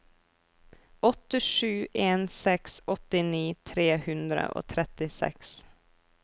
åtte sju en seks åttini tre hundre og trettiseks